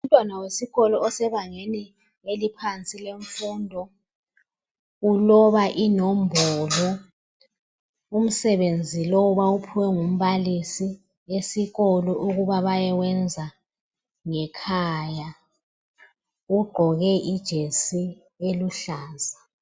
Umntwana wesikolo osebangeni eliphansi lemfundo uloba inombolo umsebenzi lowu bawuphiwe ngumbalisi ukuthi bayewubhala ngekhaya ugqoke ijesi eluhlaza.